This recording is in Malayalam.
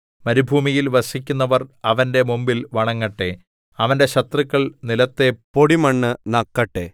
മരുഭൂമിയിൽ വസിക്കുന്നവർ അവന്റെ മുമ്പിൽ വണങ്ങട്ടെ അവന്റെ ശത്രുക്കൾ നിലത്തെ പൊടിമണ്ണ് നക്കട്ടെ